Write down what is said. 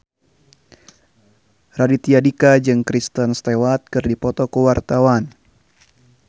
Raditya Dika jeung Kristen Stewart keur dipoto ku wartawan